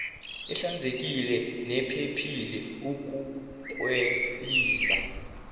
ehlanzekile nephephile ukuklelisa